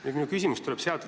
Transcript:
Siit tuleb ka minu küsimus.